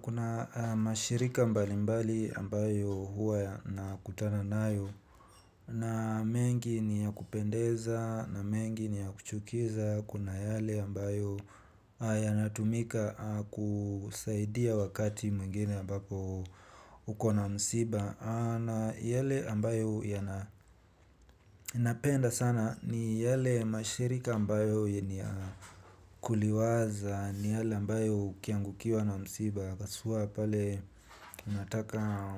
Kuna mashirika mbali mbali ambayo huwa yana kutana nayo. Na mengi ni ya kupendeza na mengi ni ya kuchukiza kuna yale ambayo yanatumika kusaidia wakati mwingine mbapo uko na msiba. Na yale ambayo napenda sana ni yale mashirika ambayo yenye kuliwaza ni yale ambayo ukiangukiwa na msiba haswa pale unataka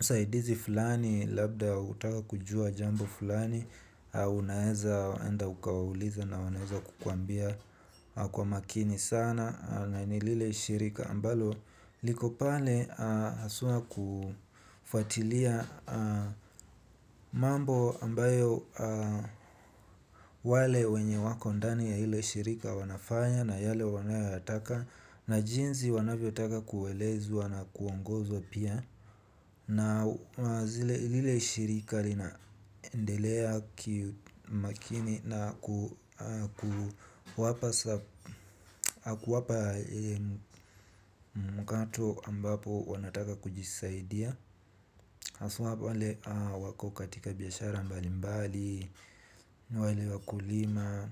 usaidizi fulani. Labda utaka kujua jambo fulani unaeza enda ukawaulize na wanaeza kukuambia kwa makini sana na ni lile shirika ambalo liko pale haswa kufuatilia mambo ambayo wale wenye wako ndani ya ile shirika wanafanya na yale wanayo yataka. Na jinzi wanavyo taka kuelezwa na kuongozwa pia na zile lile shirika lina endelea kimakini na ku wapa kuwapa mkato ambapo wanataka kujisaidia haswa wale wako katika biashara mbali mbali wale wakulima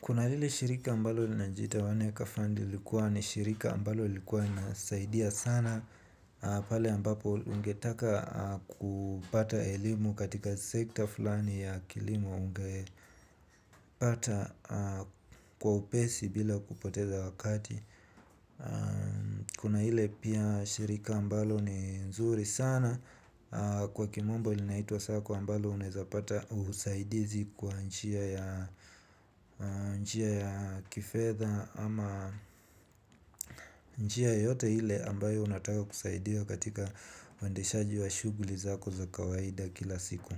kuna lile shirika ambalo linajiita wanekafandi lilikuwa ni shirika ambalo likuwa nasaidia sana pale ambapo ungetaka kupata elimu katika sekta fulani ya kilimo. Ungepata kwa upesi bila kupoteza wakati kuna ile pia shirika ambalo ni nzuri sana kwa kimombo linaitwa sacco ambalo unaeza pata usaidizi kwa njia ya kifedha ama njia yoyote ile ambayo unataka kusaidiwa katika uendeshaji wa shughuli zako za kawaida za kila siku.